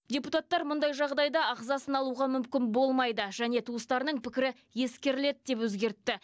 депутаттар мұндай жағдайда ағзасын алуға мүмкін болмайды және туыстарының пікірі ескеріледі деп өзгертті